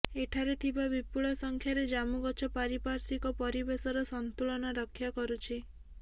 ଏଠାରେ ଥିବା ବିପୁଳ ସଂଖ୍ୟାରେ ଜାମୁଗଛ ପାରିପାର୍ଶ୍ବିକ ପରିବେଶର ସନ୍ତୁଳନ ରକ୍ଷା କରୁଛି